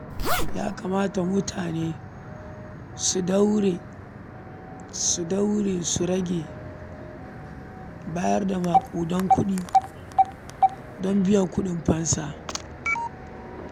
Ya kamata mutane su daure su rage bayar da maƙudan kuɗi don biyan kuɗin fansa.